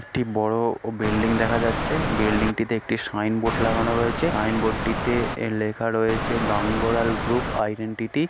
একটি বড়ো বিল্ডিং দেখা যাচ্ছে বিল্ডিং টি তে একটি সাইনবোর্ড লাগানো রয়েছে সাইনবোর্ড টিতে লেখা রয়েছে গাঙ্গোরাল গ্রুপ আইডেন্টিটি ।